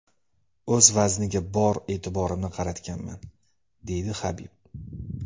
O‘z vazniga bor e’tiborimni qaratganman”, deydi Habib.